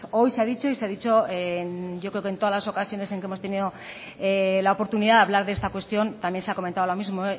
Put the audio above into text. hoy se ha dicho y se ha dicho yo creo que en todas las ocasiones en que hemos tenido la oportunidad de hablar de esta cuestión también se ha comentado lo mismo